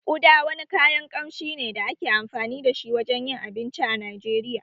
Uda wani kayan kamshi ne da ake amfani da shi wajen yin abinci a Najeriya